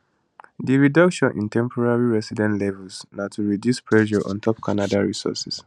di reduction in temporary resident levels na to reduce pressure ontop canada resources